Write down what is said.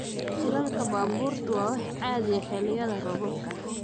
Shilalka baabuurtu waa wax caadi ah xilliyada roobabka.